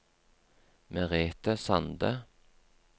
Merete Sande